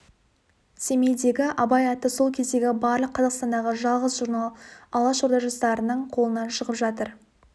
семейдегі абай атты сол кездегі барлық қазақстандағы жалғыз журнал алашорда жастарының қолынан шығып жатыр